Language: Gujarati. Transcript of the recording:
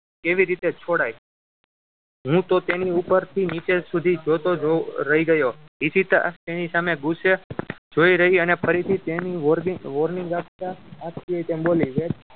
કેવી રીતે છોડાય હું તો તેની ઉપરથી નીચે સુધી જોતો જ રહી ગયો ઈશિતા એની સામે ગુસ્સે જોઈ રહી અને ફરીથી તેને warning warning આપતા આજ કી ને તેમ બોલી વેદ